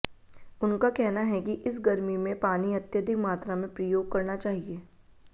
उनका कहना है कि इस गर्मी में पानी अत्यधिक मात्रा में प्रयोग करना चाहिए